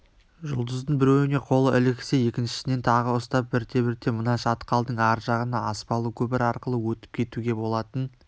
жұлдыздың біреуіне қолы іліксе екіншісінен тағы ұстап бірте-бірте мына шатқалдың ар жағына аспалы көпір арқылы өтіп кетуге болатын